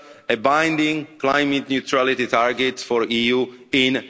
a binding climate-neutrality target for the EU